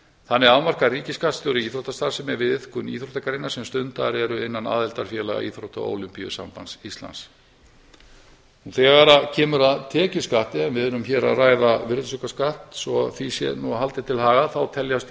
þannig afmarkar ríkisskattstjóri íþróttastarfsemi við iðkun íþróttagreina sem stundaðar eru innan aðildarfélaga íþrótta og ólympíusambands íslands þegar kemur að tekjuskatti en við erum hér að ræða virðisaukaskatt svo því sé nú haldið til haga þá teljast